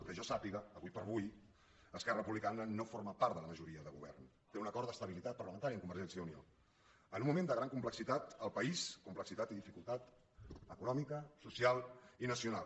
que jo sàpiga ara com ara esquerra republicana no forma part de la majoria de govern té un acord d’estabilitat parlamentària amb convergència i unió en un moment de gran complexitat al país complexitat i dificultat econòmica social i nacional